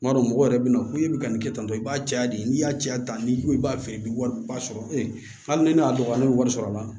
N b'a dɔn mɔgɔ yɛrɛ bɛna fɔ e bɛ ka nin kɛ tantɔ i b'a caya de n'i y'a caya ta ni ko i b'a feere i bɛ wariba sɔrɔ e ni ne y'a dɔn ne bɛ wari sɔrɔ a la